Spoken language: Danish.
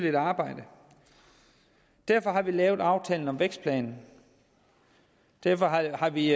et arbejde og derfor har vi lavet aftalen om vækstplanen derfor har vi